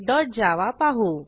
greetingservletजावा पाहू